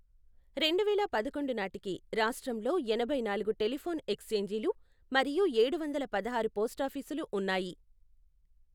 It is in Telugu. రెండువేల పదకొండు నాటికి రాష్ట్రంలో ఎనభై నాలుగు టెలిఫోన్ ఎక్స్ఛేంజీలు మరియు ఏడు వందల పదహారు పోస్టాఫీసులు ఉన్నాయి.